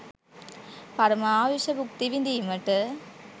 පරම ආයුෂ බුක්ති විඳීමට